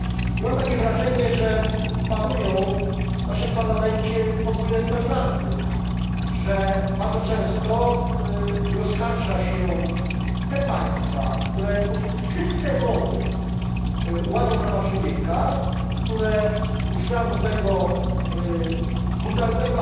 I mam takie wrażenie, że panują w naszym Parlamencie podwójne standardy, że bardzo często nie oskarża się tych państw, które w sposób systemowy łamią prawa człowieka, które używają do tego brutalnego